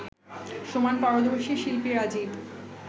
সমান পারদর্শী শিল্পী রাজিব